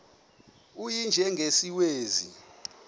u y njengesiwezi